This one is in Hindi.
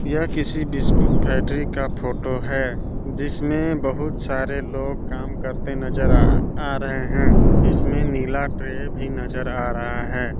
यह किसी बिस्कुट फैट्री का फोटो है जिसमें बहुत सारे लोग काम करते नजर आ आ रहे हैं इसमें नीला ट्रे भी नजर आ रहा है।